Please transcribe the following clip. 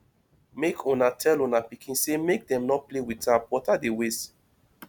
make una tell una pikin sey make dem no play with tap water dey waste